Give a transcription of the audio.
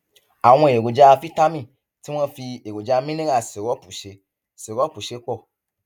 àwọn èròjà fítámì tí wọn fi èròjà mineral sírópù ṣe sírópù ṣe pọ